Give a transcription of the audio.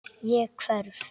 Ég hverf.